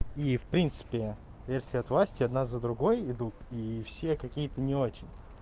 и в принципе если от власти одна за другой идут и все какие-то не очень